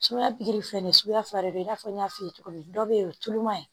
Sumaya pikiri filɛ nin ye suguya fila de bɛ i n'a fɔ n y'a f'i ye cogo min dɔw bɛ yen o tulo man ɲi